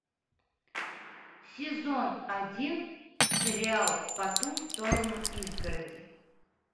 сезон один сериал по ту сторону изгороди